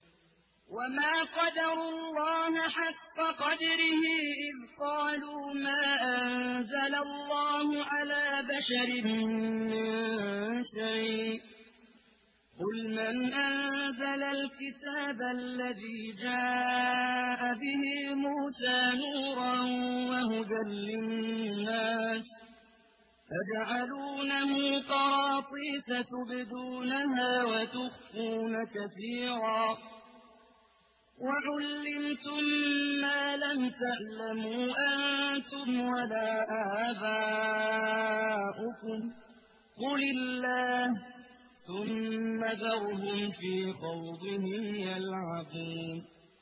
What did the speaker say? وَمَا قَدَرُوا اللَّهَ حَقَّ قَدْرِهِ إِذْ قَالُوا مَا أَنزَلَ اللَّهُ عَلَىٰ بَشَرٍ مِّن شَيْءٍ ۗ قُلْ مَنْ أَنزَلَ الْكِتَابَ الَّذِي جَاءَ بِهِ مُوسَىٰ نُورًا وَهُدًى لِّلنَّاسِ ۖ تَجْعَلُونَهُ قَرَاطِيسَ تُبْدُونَهَا وَتُخْفُونَ كَثِيرًا ۖ وَعُلِّمْتُم مَّا لَمْ تَعْلَمُوا أَنتُمْ وَلَا آبَاؤُكُمْ ۖ قُلِ اللَّهُ ۖ ثُمَّ ذَرْهُمْ فِي خَوْضِهِمْ يَلْعَبُونَ